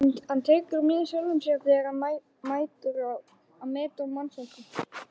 Hann tekur mið af sjálfum sér þegar hann metur mannfólkið.